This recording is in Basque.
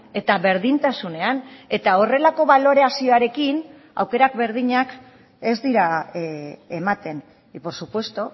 eta berdintasunean eta horrelako balorazioarekin aukerak berdinak ez dira ematen y por supuesto